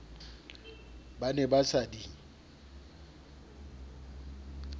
ba ne ba sa di